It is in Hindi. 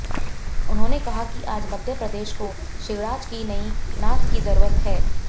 उन्होंने कहा कि आज मध्य प्रदेश को शिवराज की नहीं नाथ की जरूरत है